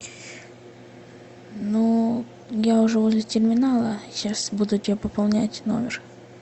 ну я уже возле терминала сейчас буду тебе пополнять номер